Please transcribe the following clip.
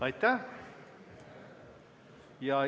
Aitäh!